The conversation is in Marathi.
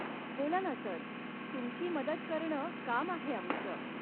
बोला ना सर, तुमची मदत करणं काम आहे आमचं.